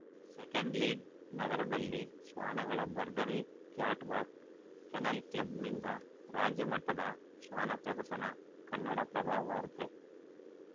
second lead ನಗರದಲ್ಲಿ ಶ್ವಾನಗಳ ಭರ್ಜರಿ ಕ್ಯಾಟ್‌ ವಾಕ್‌ ಕೆನಲ್‌ ಕ್ಲಬ್‌ನಿಂದ ರಾಜ್ಯಮಟ್ಟದ ಶ್ವಾನ ಪ್ರದರ್ಶನ ಕನ್ನಡಪ್ರಭ ವಾರ್ತೆ